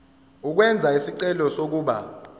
ukwenza isicelo sokuba